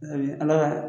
Ala ka